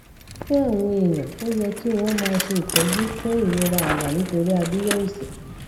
fún àwọn èèyàn ó yẹ kí wọn máa ṣe ìtọjú fún ìrora àyà nítòsí abiya òsì